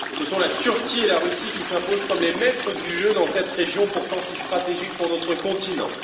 Ce sont la Turquie et la Russie qui s'imposent comme les maîtres du jeu dans cette région, pourtant si stratégique pour notre continent.